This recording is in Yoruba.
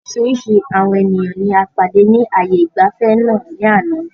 Oríṣiríṣi àwọn ènìyàn ní a pàdé ni ààyè ìgbafẹ́ náà ni àná